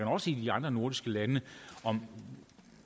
også i de andre nordiske lande om